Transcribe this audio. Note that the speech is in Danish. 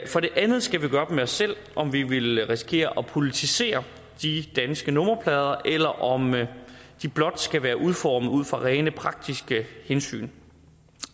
for det andet skal vi gøre op med os selv om vi vil risikere at politisere de danske nummerplader eller om de blot skal være udformet ud fra rent praktiske hensyn